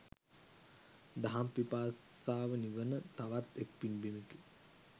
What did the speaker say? දහම් පිපාසාව නිවන තවත් එක් පින් බිමෙකි.